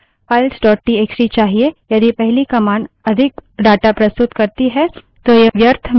यदि पहली command अधिक data प्रस्तुत करती है तो यह व्यर्थ में disk memory नष्ट कर या कम कर सकती है